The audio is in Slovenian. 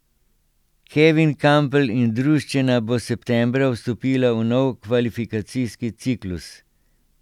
Kevin Kampl in druščina bo septembra vstopila v nov kvalifikacijski ciklus.